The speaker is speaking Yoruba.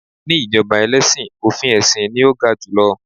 ní ijoba ẹlẹsin, ofin esin ni o ga jù lọ